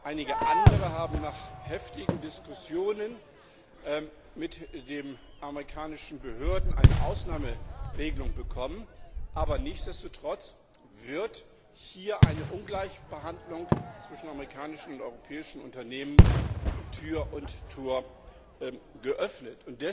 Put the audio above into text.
Einige andere haben nach heftigen Diskussionen mit den amerikanischen Behörden eine Ausnahmeregelung bekommen, aber nichtsdestotrotz wird hier einer Ungleichbehandlung zwischen amerikanischen und europäischen Unternehmen Tür und Tor geöffnet.